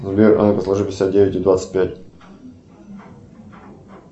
сбер а ну ка сложи пятьдесят девять и двадцать пять